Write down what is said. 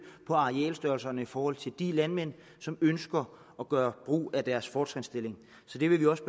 på arealstørrelserne i forhold til de landmænd som ønsker at gøre brug af deres fortrinsstilling så det vil vi også